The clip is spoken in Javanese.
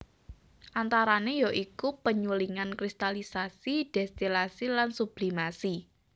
Antarane ya iku penyulingan kristalisasi destilasi lan sublimasi